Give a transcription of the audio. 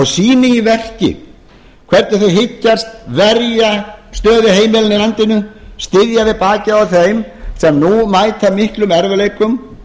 sýni í verki hvernig þau hyggjast verja stöðu heimilanna í landinu styðja við bakið á þeim sem nú mæta miklum erfiðleikum